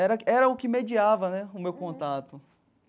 Era era o que mediava né o meu contato.